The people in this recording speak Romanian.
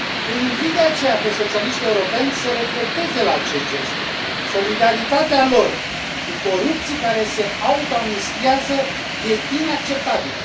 Îi invit, de aceea, pe socialiștii europeni să reflecteze la acest gest, solidaritatea lor cu corupții care se autoamnistiază este inacceptabilă.